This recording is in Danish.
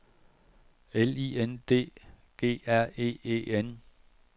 L I N D G R E E N